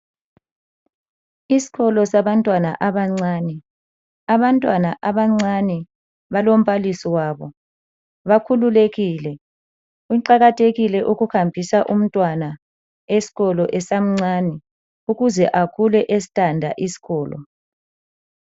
Isikolo abantwana abancane, abantwana abancane balombalisi wabo bakhululekile. Kuqakathekile ukuhambisa umntwana eskolo esamncane ukuze akhule esithanda isikolo.